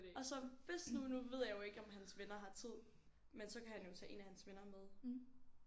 Og så hvis nu nu ved jeg jo ikke om hans venner har tid men så kan han jo tage en af hans venner med